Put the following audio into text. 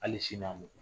Hali sini n'a mugu